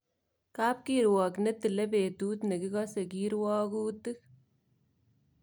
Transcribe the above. Kapkirwok ne tile petut ne kikose kirwagutik.